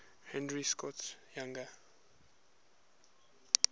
henry scott's younger